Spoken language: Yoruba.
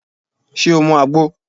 Ṣé o mu àgbo?